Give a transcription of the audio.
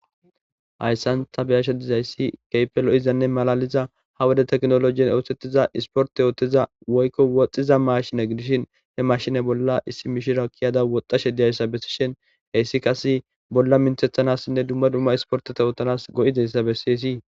Hayisan ta beashe dizayisi kehippe loezanne malaliza ha wode technoloje osetiza isiporte otiza woyikko woxxiza mashine gidishin he mashine bolla issi mishiriya woxxashe diyayisa besishen heyisi qase bolla mintetanasinne dumma dumma isporteta othanasi goizayisa besessi.